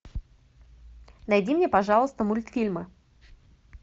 найди мне пожалуйста мультфильмы